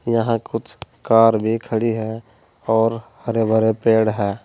यहां कुछ कार भी खड़ी है और हरे भरे पेड़ है।